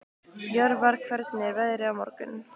Jörvar, hvernig er veðrið á morgun?